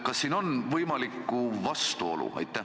Kas siin on võimalikku vastuolu?